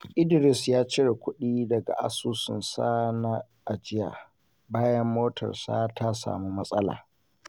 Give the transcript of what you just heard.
Idris ya cire kuɗi daga asusunsa na ajiya bayan motarsa ta samu matsala.